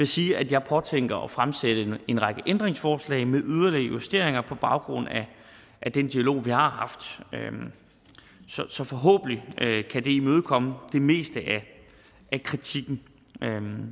sige at jeg påtænker at fremsætte en række ændringsforslag med yderligere justeringer på baggrund af den dialog vi har haft så forhåbentlig kan det imødekomme det meste af kritikken